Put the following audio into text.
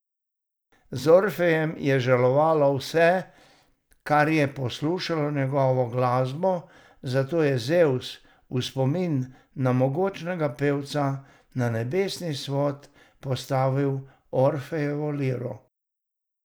Za Orfejem je žalovalo vse, kar je poslušalo njegovo glasbo, zato je Zevs v spomin na mogočnega pevca na nebesni svod postavil Orfejevo liro.